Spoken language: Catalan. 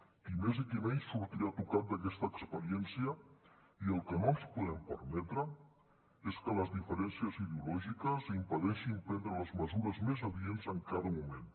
qui més qui menys sortirà tocat d’aquesta experiència i el que no ens podem permetre és que les diferències ideològiques impedeixin prendre les mesures més adients en cada moment